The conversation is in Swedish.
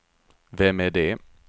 vem är det